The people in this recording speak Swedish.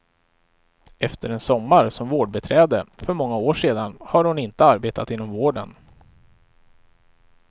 Efter en sommar som vårdbiträde för många år sedan har hon inte arbetat inom vården.